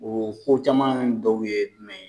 O fo caman dɔw ye